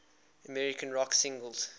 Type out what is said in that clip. american rock singers